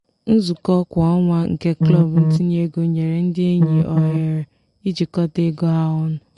nzukọ kwa ọnwa nke klọb ntinye ego nyere ndị enyi ohere ijikọta ego ha ọnụ.